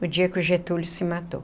No dia que o Getúlio se matou.